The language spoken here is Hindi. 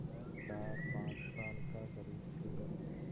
वह चारपाँच साल का ग़रीबसूरत